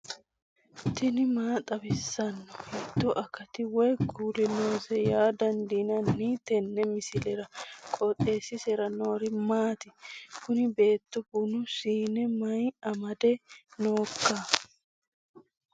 tini maa xawissanno ? hiitto akati woy kuuli noose yaa dandiinanni tenne misilera? qooxeessisera noori maati? kuni beeto bunu siine mayinni amadde nooikka